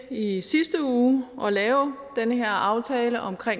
i sidste uge at lave den her aftale om